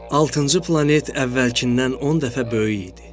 Altıncı planet əvvəlkindən 10 dəfə böyük idi.